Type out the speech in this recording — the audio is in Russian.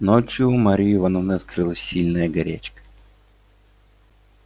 ночью у марьи ивановны открылась сильная горячка